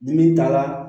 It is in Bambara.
Ni min taara